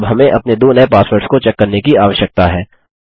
अब हमें अपने दो नये पासवर्ड्स को चेक करने की आवश्यकता है